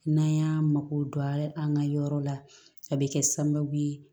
N'an y'an mako don an ka yɔrɔ la a bɛ kɛ sababu ye